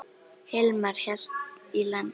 Hilmar hélt í land.